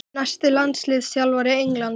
Næsti landsliðsþjálfari Englands?